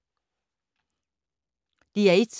DR1